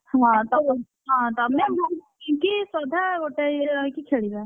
ହଁ ତମେ ହଁ ତମେ ମୁଁ ରିଙ୍କି ଶ୍ରଦ୍ଧା ଗୋଟାଏ ଇଏରେ ରହିକି ଖେଳିବା।